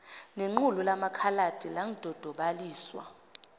nequlu lamakhaladi ladodobaliswa